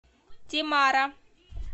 темара